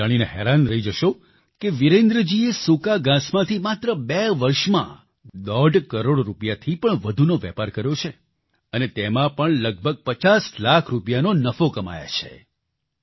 તમે જાણીને હેરાન રહી જશો કે વિરેન્દ્રજીએ સૂકા ઘાંસમાંથી માત્ર બે વર્ષમાં દોઢ કરોડ રૂપિયાથી પણ વધુનો વેપાર કર્યો છે અને તેમાં પણ લગભગ 50 લાખ રૂપિયાનો નફો કમાયા છે